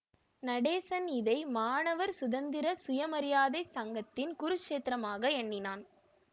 நடேசன் இதை மாணவர் சுதந்திர சுயமரியாதைச் சங்கத்தின் குருக்ஷேத்திரமாக எண்ணினான்